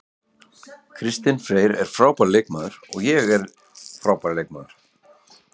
Kristinn Freyr er frábær leikmaður og ég er frábær leikmaður.